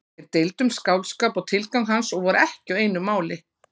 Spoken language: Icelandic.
Þeir deildu um skáldskap og tilgang hans og voru ekki á einu máli.